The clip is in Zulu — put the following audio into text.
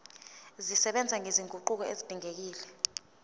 zisebenza nezinguquko ezidingekile